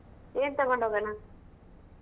ಏನ್ ತಗೊಂಡ್ ಹೋಗೋಣ ?